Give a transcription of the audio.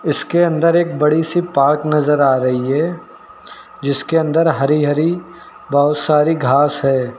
उसके अंदर एक बड़ी सी पार्क नजर आ रही है जिसके अंदर हरी हरी बहोत सारी घास है।